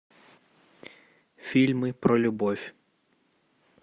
фильмы про любовь